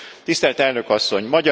Tisztelt Elnök Asszony!